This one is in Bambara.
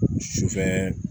Sufɛ